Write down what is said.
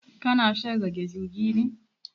Ka na shan rage zugi ne?